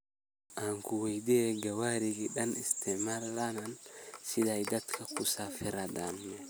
Ankuweydiyex, Gawari dhaan iistimarka isticmalaan sidhey dadka oo kusafridhinan?